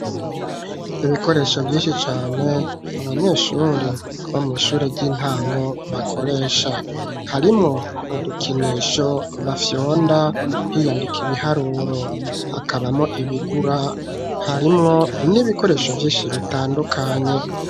Ibikoresho vyinshi cane abanyeshuri bo mw'ishure ry'intango bakoresha harimwo udukinisho bafyonda hiyandika ibiharuro hakabamo ibigura harimwo n'ibikoresho vyinshi bitandukanye.